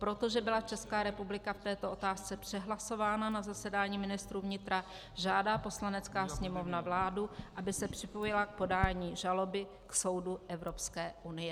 Protože byla Česká republika v této otázce přehlasována na zasedání ministrů vnitra, žádá Poslanecká sněmovna vládu, aby se připojila k podání žaloby k soudu Evropské unie."